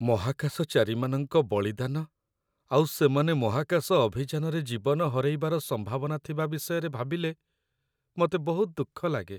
ମହାକାଶଚାରୀମାନଙ୍କ ବଳିଦାନ ଆଉ ସେମାନେ ମହାକାଶ ଅଭିଯାନରେ ଜୀବନ ହରେଇବାର ସମ୍ଭାବନା ଥିବା ବିଷୟରେ ଭାବିଲେ ମତେ ବହୁତ ଦୁଃଖ ଲାଗେ ।